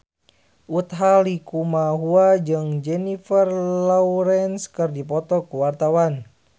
Utha Likumahua jeung Jennifer Lawrence keur dipoto ku wartawan